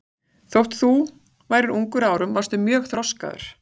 Þótt þú værir ungur að árum varstu mjög þroskaður.